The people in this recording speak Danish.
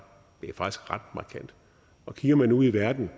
markant kigger man ud i verden